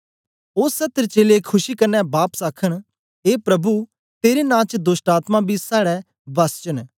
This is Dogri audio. ओ सत्तर चेलें खुशी कन्ने बापस आखन ए प्रभु तेरे नां च दोष्टआत्मायें बी साड़े वस्स च न